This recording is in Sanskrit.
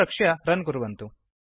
संरक्ष्य रन् कुर्वन्तु